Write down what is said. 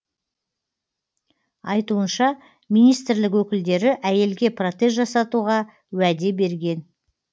айтуынша министрлік өкілдері әйелге протез жасатуға уәде берген